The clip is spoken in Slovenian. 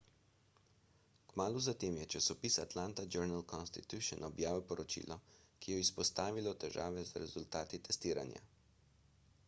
kmalu zatem je časopis atlanta journal-constitution objavil poročilo ki je izpostavilo težave z rezultati testiranja